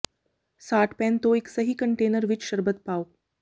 ਸਾਟ pan ਤੋਂ ਇਕ ਸਹੀ ਕੰਟੇਨਰ ਵਿਚ ਸ਼ਰਬਤ ਪਾਓ